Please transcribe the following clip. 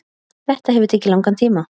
Þetta hefur tekið langan tíma